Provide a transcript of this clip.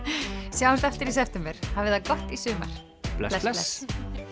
sjáumst aftur í september hafið það gott í sumar bless bless